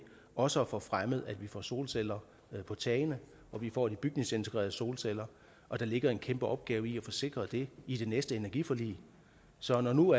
også at få fremmet at vi får solceller på tagene at vi får de bygningsintegrerede solceller og der ligger en kæmpe opgave i at få sikret det i det næste energiforlig så når nu